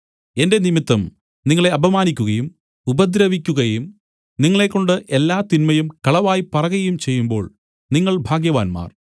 എന്റെ നിമിത്തം നിങ്ങളെ അപമാനിക്കുകയും ഉപദ്രവിക്കുകയും നിങ്ങളെക്കൊണ്ട് എല്ലാ തിന്മയും കളവായി പറകയും ചെയ്യുമ്പോൾ നിങ്ങൾ ഭാഗ്യവാന്മാർ